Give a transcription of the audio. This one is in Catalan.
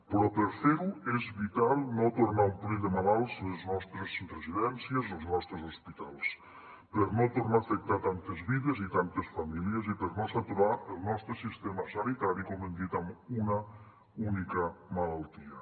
però per fer ho és vital no tornar a omplir de malalts les nostres residències ni els nostres hospitals per no tornar a afectar tantes vides i tantes famílies i per no saturar el nostre sistema sanitari com hem dit amb una única malaltia